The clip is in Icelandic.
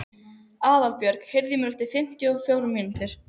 Aðalbjörg, heyrðu í mér eftir fimmtíu og fjórar mínútur.